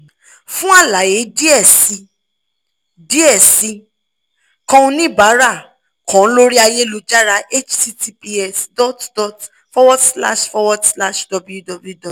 fun alaye diẹ sii diẹ sii kan onibara kan lori ayelujara https://www